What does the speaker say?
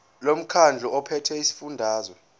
lomkhandlu ophethe esifundazweni